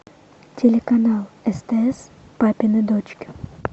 телеканал стс папины дочки